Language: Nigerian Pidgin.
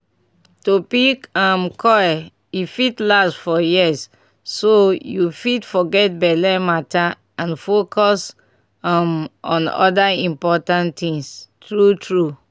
to pick um coil e fit last for years so you fit forget belle matter and focus um on other important tins. true true